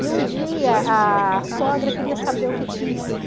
E um dia a sogra queria saber o que tinha